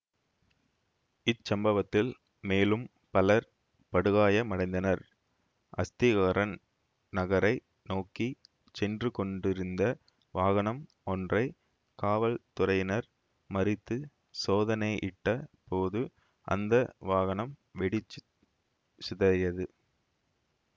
இச்சம்வத்தில் மேலும் பலர் படுகாயமடைந்தனர் அஸ்திகாரன் நகரை நோக்கி சென்று கொண்டிருந்த வாகனம் ஒன்றை காவல்துறையினர் மறித்துச் சோதனையிட்ட போது அந்த வாகனம் வெடிச்சுச் சிதறியது